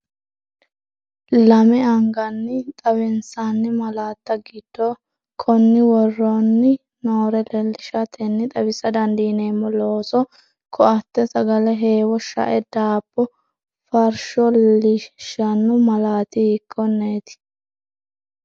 Lame anganni xawinsanni malaatta giddo konni woroonni noore leellishatenni xawisa dandiineemmo: looso koatte sagale heewo shae daabbo farsho, lishshanno malaati hiikkonneeti?